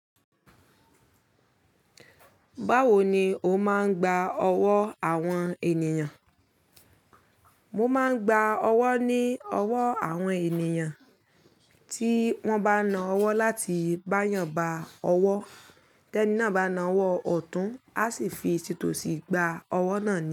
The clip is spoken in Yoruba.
Báwo ni o máa ń gba ọwọ́ àwọn ènìyàn? Mo máa ń gba ọwọ́ ní ọwọ́ àwọn ènìyàn tí wọ́n bá na ọwọ́ láti bá eyan gba ọwọ́. Tẹ́ní náà bá na ọwọ́ ọ̀tún, a sì fi tí to síi gba ọwọ́ náà ni.